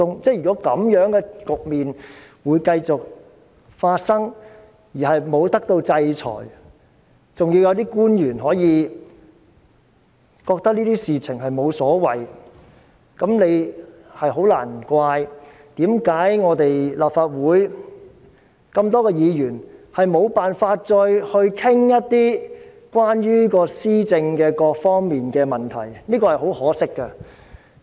這樣的局面繼續發生而沒有人受到制裁，還有一些官員認為這些事情無所謂，難怪立法會眾多議員沒有辦法再討論一些關於施政各方面的問題，這是十分可惜的。